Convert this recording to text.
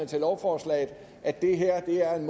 til lovforslaget at det her er en